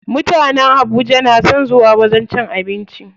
Mutanen Habuja na son zuwa wajen cin abinci.